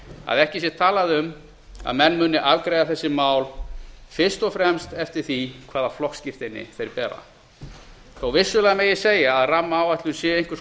að ekki sé talað um að menn muni afgreiða þessi mál fyrst og fremst eftir því hvaða flokksskírteini þeir bera þó vissulega megi segja að rammaáætlun sé einhvers